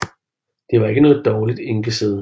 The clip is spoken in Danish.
Det var ikke noget dårligt enkesæde